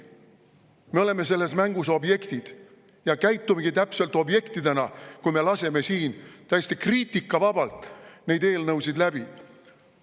Me oleme selles mängus objektid ja käitumegi täpselt objektidena, kui me laseme siin täiesti kriitikavabalt neid eelnõusid läbi.